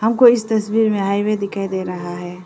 हमको इस तस्वीर में हाईवे दिखाई दे रहा है।